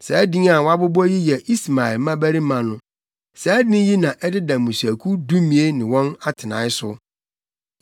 Saa din a wɔabobɔ yi yɛ Ismael mmabarima no. Saa din yi na ɛdeda mmusuakuw dumien ne wɔn atenae so.